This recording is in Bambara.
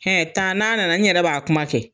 taa n'a nana n yrɛɛ b'a kuma kɛ.